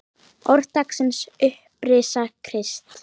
Orð dagsins Upprisa Krists